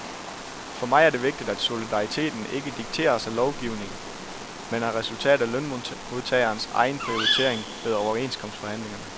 For mig er det vigtigt, at solidariteten ikke dikteres af lovgivning, men er resultat af lønmodtagernes egen prioritering ved overenskomstforhandlingerne.